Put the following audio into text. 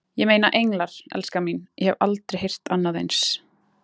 Ég meina, englar, elskan mín, ég hef aldrei heyrt annað eins.